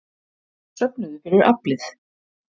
Söfnuðu fyrir Aflið